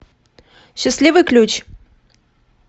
счастливый ключ